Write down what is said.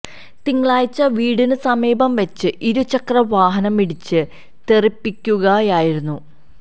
തിങ്കളാഴ്ച വീടിന് സമീപം വച്ച് ഇരു ചക്ര വാഹനം ഇടിച്ച് തെറിപ്പിക്കുകയായിരുന്നു